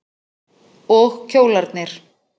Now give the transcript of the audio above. Og kjólarnir.